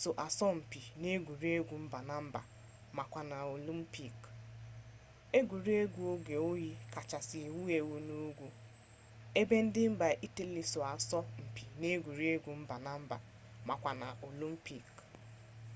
so asọ mpi n'egwuregwu mba na mba makwa na olimpik